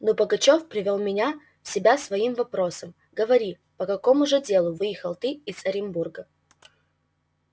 но пугачёв привёл меня в себя своим вопросом говори по какому же делу выехал ты из оренбурга